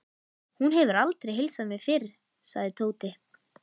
Hún hefur aldrei heilsað mér fyrr, sagði Tóti.